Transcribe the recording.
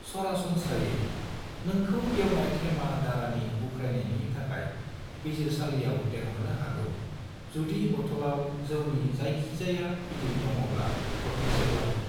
सरासनस्रायै, नोंखौ गेवनाय थेमा दाराखौ उख्रायनायनि थाखाय बिजिरसालियाव लेंहरनो हागौ जुदि बतलाव जौनि जायखिजया बिबां दङब्ला - थरथिंसेब्लाबो।